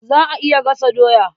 Za a iya gasa doya.